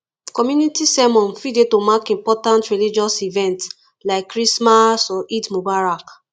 community sermon fit dey to mark important religious events like christmas or eid mubarak